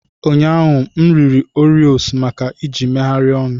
Ụnyaahụ, m riri Oreos maka eji megharịa ọnụ.